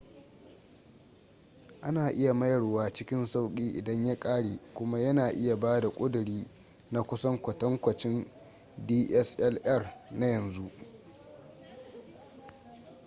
ana iya mayarwa cikin sauki idan ya kare kuma yana iya bada ƙuduri na kusan kwatankwacin dslr na yanzu